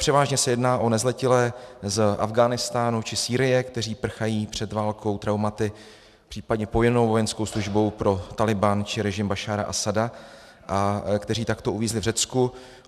Převážně se jedná o nezletilé z Afghánistánu či Sýrie, kteří prchají před válkou, traumaty, případně povinnou vojenskou službou pro Tálibán či režim Bašára Asada, kteří takto uvízli v Řecku.